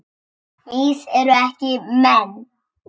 Mýs eru ekki menn